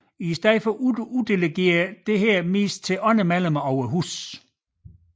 I stedet uddelegeres dette oftest til andre medlemmer af Huset